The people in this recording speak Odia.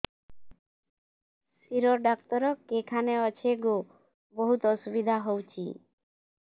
ଶିର ଡାକ୍ତର କେଖାନେ ଅଛେ ଗୋ ବହୁତ୍ ଅସୁବିଧା ହଉଚି